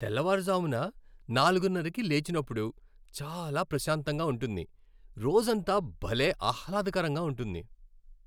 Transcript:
తెల్లవారుజామున నాలుగున్నరకి లేచినప్పుడు చాలా ప్రశాంతంగా ఉంటుంది, రోజంతా భలే ఆహ్లాదకరంగా ఉంటుంది.